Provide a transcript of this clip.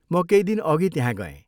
म केही दिनअघि त्यहाँ गएँ।